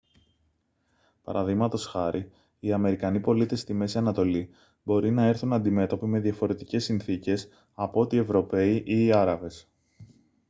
παραδείγματος χάρη οι αμερικανοί πολίτες στη μέση ανατολή μπορεί να έρθουν αντιμέτωποι με διαφορετικές συνθήκες από ό,τι οι ευρωπαίοι ή οι άραβες